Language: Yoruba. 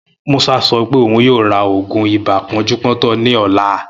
Musa sọ pé òun yoo ra òògùn ibà pọ́njúpọ́tọ̀ ní ọlá